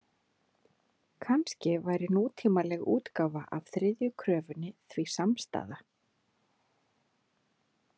Kannski væri nútímaleg útgáfa af þriðju kröfunni því samstaða .